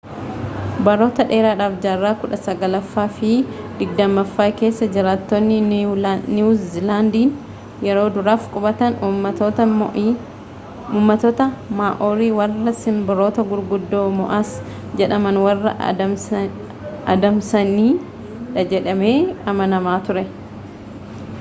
baroota dheeraadhaaf jaarraa kudha saglaffaa fi digdammaffaa keessa jiraattonni niiwu ziilaandiin yeroo duraaf qubatan ummattoota maa'oorii warra sinbirroota gurguddoo moo'as jedhaman warra adamsanidhajedhamee amanama ture